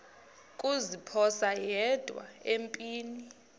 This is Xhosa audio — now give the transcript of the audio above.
kuziphosa yedwa empini